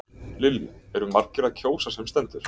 Lillý, eru margir að kjósa sem stendur?